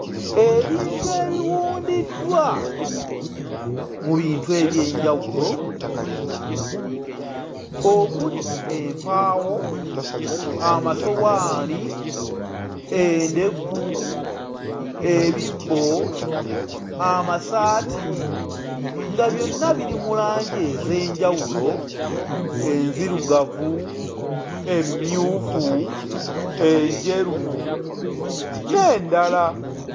Ebintu ebiwundiddwa mu bintu eby'enjawulo okuli empaawo, amasowaani, endeku, ebibbo, amasaati, nga byonna biri mu langi ez'enjawulo, enzirugavu, emmyufu, enjeru n'endala.